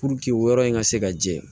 Puruke o yɔrɔ in ka se ka jɛ